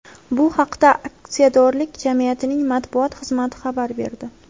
Bu haqda aksiyadorlik jamiyatining matbuot xizmati xabar berdi .